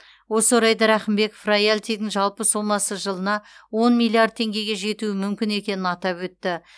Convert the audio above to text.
осы орайда рақымбеков роялтидің жалпы сомасы жылына он миллиард теңгеге жетуі мүмкін екенін атап өтті